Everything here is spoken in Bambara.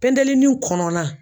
Pentelini kɔnɔna